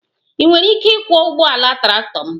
Ị nwere ike ịkwọ ụgbọala traktọ m?